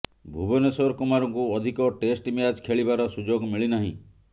ଭୁବନେଶ୍ୱର କୁମାରଙ୍କୁ ଅଧିକ test match ଖେଳିବାର ସୁଯୋଗ ମିଳି ନାହିଁ